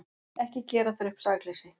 Ekki gera þér upp sakleysi.